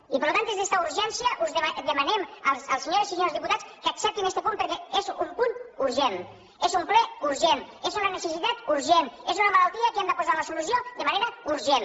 i per tant des d’esta urgència demanem a les senyores i senyors diputats que acceptin este punt perquè és un punt urgent és un ple urgent és una necessitat urgent és una malaltia que hi hem de posar la solució de manera urgent